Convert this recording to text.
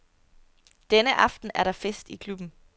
Denne aften er der fest i klubben.